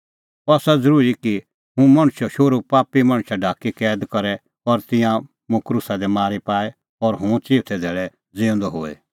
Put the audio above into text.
अह आसा ज़रूरी कि मुंह मणछो शोहरू पापी मणछ ढाकी कैद करे और तिंयां मुंह क्रूसा दी मारी पाए और हुंह चिऊथै धैल़ै ज़िऊंदअ होए